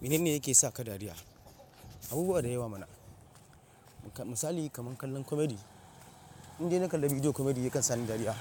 Mene ne yake sa ka dariya? Abubu wa da yawa mana. Misali kaman kallon comedy. In dai na kalla bidiyo comedy ya kan sa ni dariya